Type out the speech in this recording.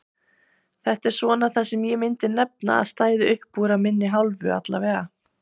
Þetta er svona það sem ég myndi nefna að stæði uppúr af minni hálfu allavega.